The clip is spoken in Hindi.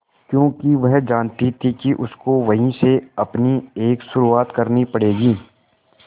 क्योंकि वह जानती थी कि उसको वहीं से अपनी एक शुरुआत करनी पड़ेगी